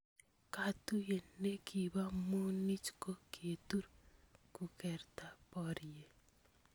Katuye ne kibo munich ko kitur kukerta borie.